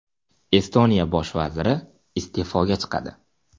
Estoniya bosh vaziri iste’foga chiqadi.